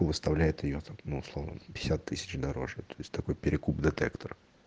выставляет её ну условно пятьдесят тысяч дороже такой перекуп детектор